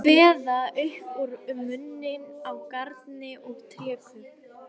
Kveða upp úr um muninn á garni og trékubb.